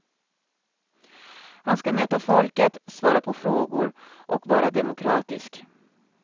Han ska möta folket, svara på frågor och vara demokratisk.